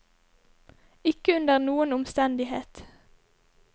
Ikke under noen omstendighet.